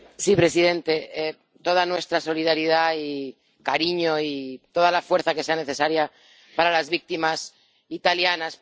Señor presidente, toda nuestra solidaridad y cariño y toda la fuerza que sea necesaria para las víctimas italianas.